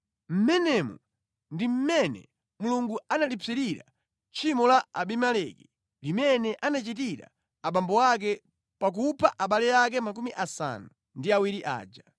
Mmenemu ndi mmene Mulungu analipsirira tchimo la Abimeleki limene anachitira abambo ake pakupha abale ake 70 aja.